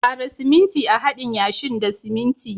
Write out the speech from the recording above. Kara siminti a'hadin yashin da siminti.